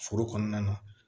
Foro kɔnɔna na